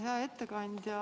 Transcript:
Hea ettekandja!